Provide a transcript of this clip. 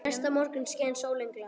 Næsta morgun skein sólin glatt.